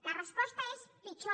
la resposta és pitjor